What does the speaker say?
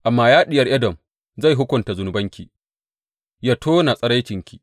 Amma ya Diyar Edom, zai hukunta zunubinki yă tona tsiraicinki.